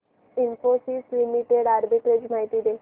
Infosys limited arbitrage माहिती दे